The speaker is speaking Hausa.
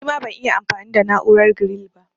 Nima ban'iya anfami da na'urar giril ba